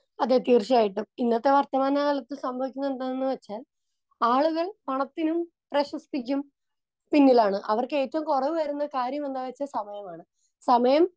Speaker 2 അതെ തീർച്ചയായിട്ടും. ഇന്നത്തെ വർത്തമാനകാലത്ത് സംഭവിക്കുന്നതെന്താണെന്നുവെച്ചാൽ ആളുകൾ പണത്തിനും പ്രശസ്തിക്കും പിന്നിലാണ്. അവർക്ക് ഏറ്റവും കുറവ് വരുന്ന കാര്യമെന്താണെന്നുവെച്ചാൽ സമയമാണ്. സമയം